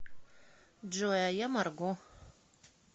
джой а я марго